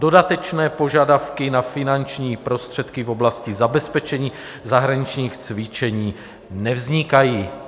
Dodatečné požadavky na finanční prostředky v oblasti zabezpečení zahraničních cvičení nevznikají.